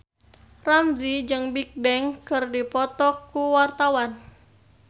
Ramzy jeung Bigbang keur dipoto ku wartawan